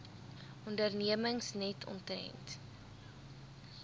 ondernemings net omtrent